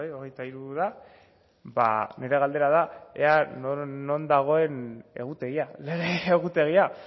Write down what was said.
hogeita hiru da ba nire galdera da ea non dagoen egutegia lege egutegia